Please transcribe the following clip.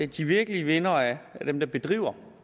de virkelige vindere er dem der bedriver